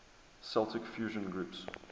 celtic fusion groups